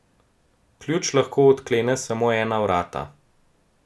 Ključ lahko odklene samo ena vrata.